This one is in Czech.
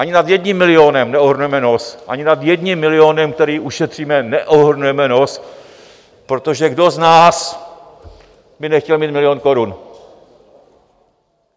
Ani nad jedním milionem neohrneme nos, ani nad jedním milionem, který ušetříme, neohrnujeme nos, protože kdo z nás by nechtěl mít milion korun?